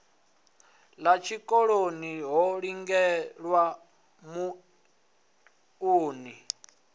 ḓa tshikoloni ho lindelwa muunḓi